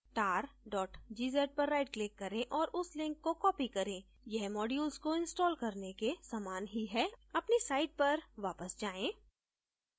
tar gz पर right click करें और उस link को copy करें यह modules को इंस्टॉल करने के समान ही है अपनी site पर वापस जाएँ